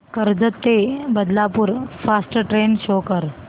कर्जत ते Badlapur fast train show कर